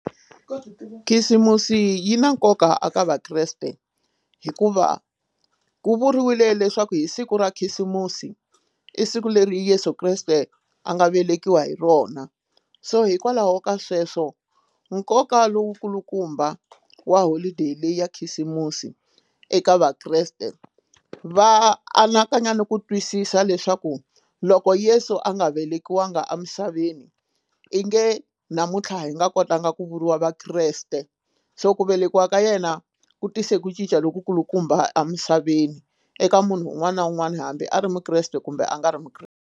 Khisimusi yi na nkoka a ka vakreste hikuva ku vuriwile leswaku hi siku ra khisimusi i siku leri Yeso Kreste a nga velekiwa hi rona so hikwalaho ka sweswo nkoka lowu kulukumba wa holideyi leyi ya khisimusi eka vakreste va anakanya na ku twisisa leswaku loko Yesu a nga velekiwanga emisaveni i nge namuntlha hi nga kotanga ku vuriwa vakreste so ku velekiwa ka yena ku tise ku cinca loku kulukumba amisaveni eka munhu un'wana na un'wana hambi a ri mukreste kumbe a nga ri .